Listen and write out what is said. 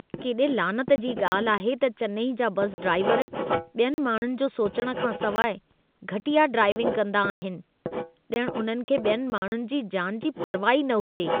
केॾे लानत जी ॻाल्हि आहे त चेन्नई जा बस ड्राइवर ॿियनि माण्हुनि जो सोचण खां सवाइ घटिया ड्राइविंग कंदा आहिनि। ॼण उन्हनि खे ॿियनि माण्हुनि जी जान जी परवाह ई न हुजे।